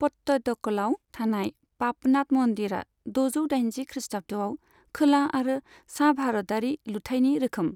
पट्टादकलाव थानाय पापनाथ मन्दिरआ द'जौ दाइनजि खृस्टाब्दआव खोला आरो सा भारतारि लुथायनि रोखोम।